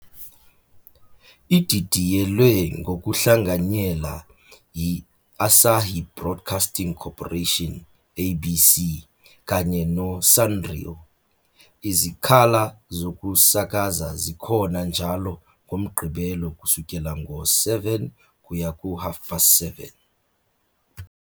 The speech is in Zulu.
Ididiyelwe ngokuhlanganyela yi- Asahi Broadcasting Corporation, ABC, kanye no -Sanrio. Izikhala zokusakaza zikhona njalo ngoMgqibelo kusukela ngo-19-00 kuya ku-19-30, JST.